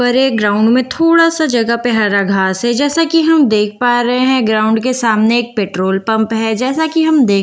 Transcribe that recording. पर एक ग्राउन्ड में थोड़ा सा जगह पे हरा घास है जैसा की हम देख पा रहे हैं ग्राउन्ड के सामने एक पेट्रोल पंप है जैसा की हम देख पा रहे हैं--